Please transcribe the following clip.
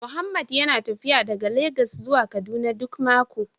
Mohammed yana tafiya daga Legas zuwa Kaduna duk mako